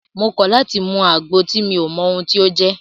Mo kọ̀ láti mú àgbo tí mi ò mọ ohun tí o jẹ́!